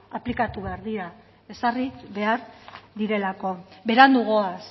aplikatu behar dira ezarri behar direlako berandu goaz